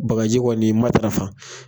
Bakaji kɔni matarafa.